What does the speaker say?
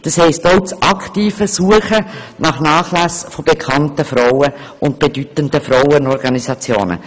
das heisst, auch das aktive Suchen nach Nachlässen von bekannten Frauen und bedeutenden Frauenorganisationen.